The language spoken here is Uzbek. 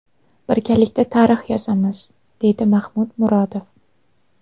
Birgalikda tarix yozamiz”, deydi Mahmud Murodov.